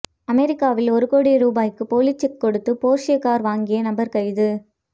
அமெரிக்காவில் ஒரு கோடி ரூபாய்க்கு போலி செக் கொடுத்து போர்ஷே கார் வாங்கிய நபர் கைது